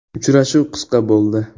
Uchrashuv qisqa bo‘ldi.